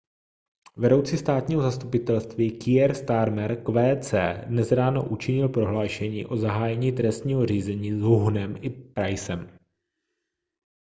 vedoucí státního zastupitelství kier starmer qc dnes ráno učinil prohlášení o zahájení trestního řízení s huhnem i prycem